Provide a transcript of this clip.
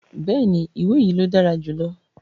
Bẹ́ẹ̀ni, iwe yii lo dara julọ